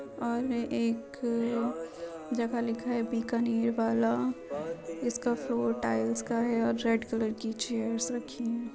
और एक जगह लिखा है बीकानेर वाला जिसका फ्लोर टाइल्स का है और रेड कलर की चेयर्स रखी --